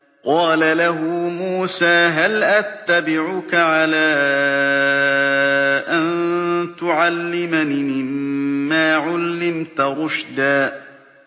قَالَ لَهُ مُوسَىٰ هَلْ أَتَّبِعُكَ عَلَىٰ أَن تُعَلِّمَنِ مِمَّا عُلِّمْتَ رُشْدًا